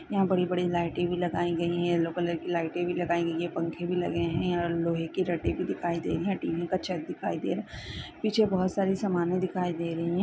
यहाँ बड़ी बड़ी लाइटे भी लगाई गईं हैं येलो कलर की लाइट भी लगाईं गईं हैं पंखे भी लगे है और लोहे के रटे भी दिखाई दे रही है टी_वी का छत दिखाई दे रहा पीछे बहोत सारी समाने दिखाई दें रहीं हैं।